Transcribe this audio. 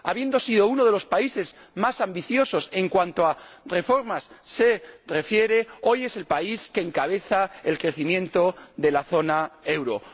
Habiendo sido uno de los países más ambiciosos en cuanto a reformas se refiere, hoy es el país que encabeza el crecimiento de la zona del euro.